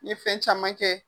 N ye fɛn caman kɛ.